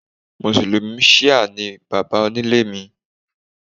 Mùsùlùmí ṣíà ni baba onílé mi